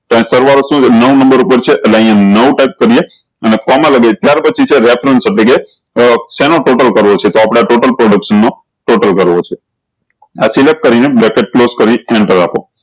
તો સરવાળો શું છે નવ નમ્બર ઉપર છે નવ તમને અને કોમા લગાયી ત્યાર પછી છે શેનો total કરવો છે તો આપળે total production નું total કરવો છે આ select કરી ને bracket close કરી અને એન્ટર આપો